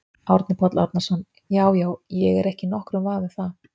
Árni Páll Árnason: Já já, ég er ekki í nokkrum vafa um það?